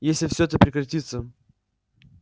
если все это прекратится